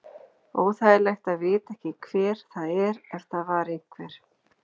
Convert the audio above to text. Óþægilegt að vita ekki hver það er ef það var einhver.